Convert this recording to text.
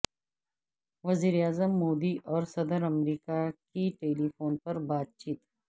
وزیراعظم مودی اور صدر امریکہ کی ٹیلی فون پر بات چیت